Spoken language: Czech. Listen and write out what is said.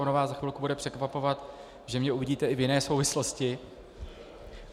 Ono vás za chvilku bude překvapovat, že mě uvidíte i v jiné souvislosti.